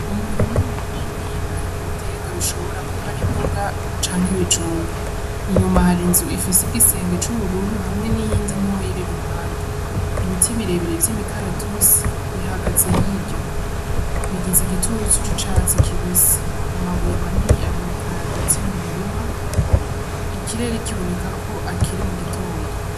Umurimo munini arimwo ibitega bishobora kuba ari imbuga canke ibijumbo inyuma hari inzu ifise igisenge c'ubururu hamwe n'iyindi nto y'iri ruhande ibiti birebire vy'imikaratusi bihagaze hirya bigiza igiturtsu ci catsi kibisi amabuye manini aboneka kagatsimwu murima ikirere kiboneka ko akiri mu gitondo.